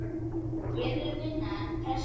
Ég vil vinna, en pressa?